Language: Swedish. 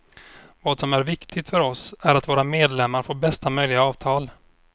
Vad som är viktigt för oss är att våra medlemmar får bästa möjliga avtal.